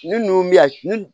Ne ninnu bɛ yan